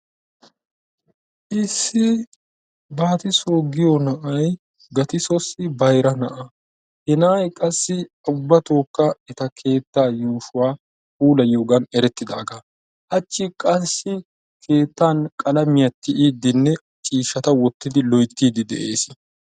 Issi battisso giyo na'ay gatissosi bayiraa na'a, he na'ay qassi ubatokka ettaa kettaa yushuwaa pulayiyogan eretidagaa, hachi qassi kettan qalamiyaa tiyiddinne cishattaa wotidinne lo'oytti de'ees.